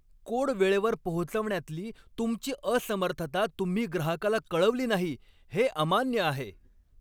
Code वेळेवर पोहोचवण्यातली तुमची असमर्थता तुम्ही ग्राहकाला कळवली नाही हे अमान्य आहे.